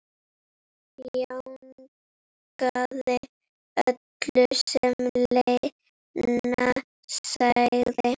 Jánkaði öllu sem Lena sagði.